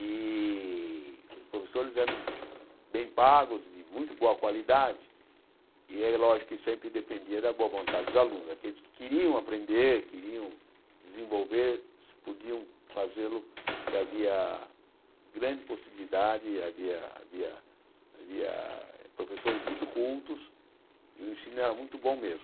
e os professores eram bem pagos, de muito boa qualidade, e é lógico que sempre dependia da boa vontade dos alunos né, daqueles que queriam aprender, queriam desenvolver, se podiam fazê-lo, porque havia grande possibilidade, havia havia havia professores muito cultos, e o ensino era muito bom mesmo.